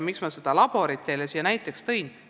Miks ma selle labori teile siin näiteks tõin?